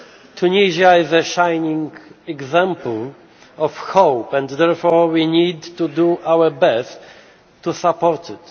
Tunisia is a shining example of hope and therefore we need to do our best to support